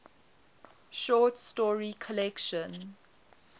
short story collection